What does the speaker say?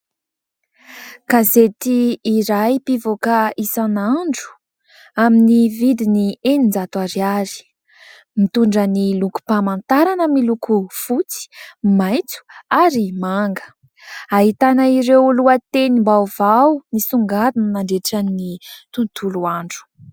Gazety iray mpivoaka isan'andro, amin'ny vidiny enin-jato ariary; mitondra ny lokom-pamantarana miloko fotsy, maitso ary manga; ahitana ireo lohatenim-baovao nisongadina nandritra ny tontolo andro.